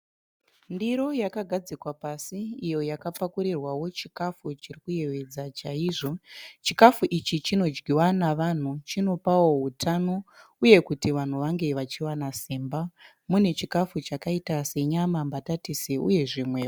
Ndiro yakagadzikwa pasi iyo yakapakurirwa chikafu chinoyedza chaizvo. Chikafu ichi chinopa vanhu hutano uye kuti vanhu vawane simba. Mune chikafu chakaita senyama, mbatatisi uye zvimwe.